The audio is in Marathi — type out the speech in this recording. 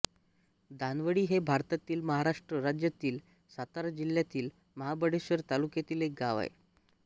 दाणवळी हे भारतातील महाराष्ट्र राज्यातील सातारा जिल्ह्यातील महाबळेश्वर तालुक्यातील एक गाव आहे